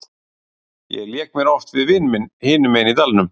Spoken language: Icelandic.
Ég lék mér oft við vin minn hinum megin í dalnum.